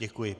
Děkuji.